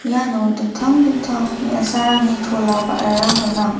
iano dingtang dingtang me·asarangni chola ba·rarang gnang.